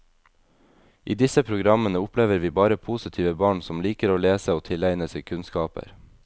I disse programmene opplever vi bare positive barn som liker å lese og tilegne seg kunnskaper.